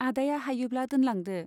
आदाया हायोब्ला दोनलांदो।